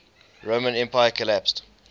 roman empire collapsed